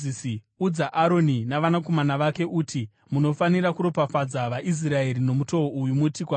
“Udza Aroni navanakomana vake uti, ‘Munofanira kuropafadza vaIsraeri nomutoo uyu. Muti kwavari: